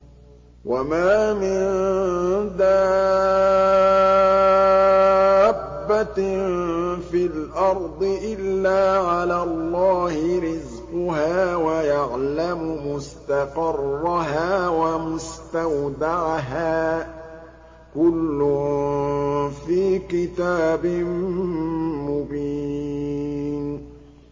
۞ وَمَا مِن دَابَّةٍ فِي الْأَرْضِ إِلَّا عَلَى اللَّهِ رِزْقُهَا وَيَعْلَمُ مُسْتَقَرَّهَا وَمُسْتَوْدَعَهَا ۚ كُلٌّ فِي كِتَابٍ مُّبِينٍ